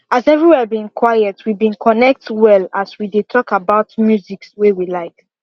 as every where been quiet we been connect well as we dey talk about musics wey we like